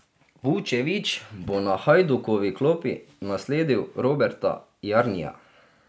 Vučević bo na Hajdukovi klopi nasledil Roberta Jarnija.